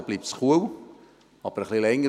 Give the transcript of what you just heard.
Dort bleibt es kühl, auch etwas länger.